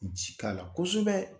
Nci k'a la kosɛbɛ.